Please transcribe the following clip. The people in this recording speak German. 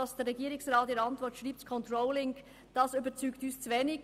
Was diese in ihrer Antwort bezüglich des Controllings schreibt, überzeugt uns zu aber wenig.